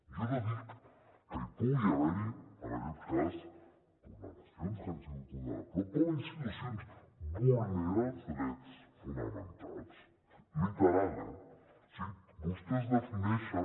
jo no dic que no pugui haver hi en aquest cas vulneracions que s’han pogut donar però com a institucions vulneren els drets fonamentals literal eh vostès defineixen